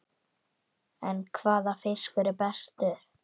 En hvaða fiskur er bestur?